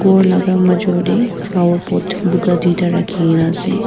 ghor laga majo tey flower pot buka duita rakhigena ase.